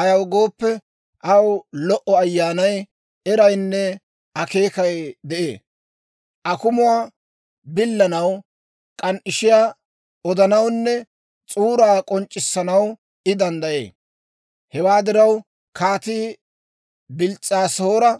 Ayaw gooppe, aw lo"o ayyaanay, eraynne akeekay de'ee; akumuwaa billanaw, k'an"ishiyaa odanawunne s'uuraa k'onc'c'issanaw I danddayee. Hewaa diraw, kaatii Bils's'aasoora